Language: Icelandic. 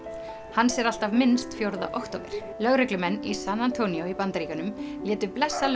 hans er alltaf minnst fjórða október lögreglumenn í San antonio í Bandaríkjunum létu blessa